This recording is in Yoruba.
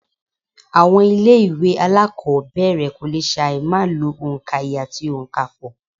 Àwọn ilé ìwé alákọ̀ọ́bẹ̀rẹ̀ kò lè ṣàì má lo òǹkaye àti ònkapò